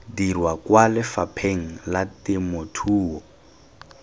dirwa kwa lefapheng la temothuo